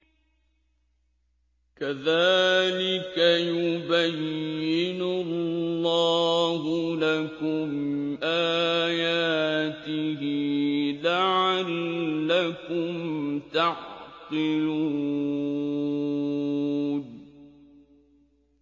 كَذَٰلِكَ يُبَيِّنُ اللَّهُ لَكُمْ آيَاتِهِ لَعَلَّكُمْ تَعْقِلُونَ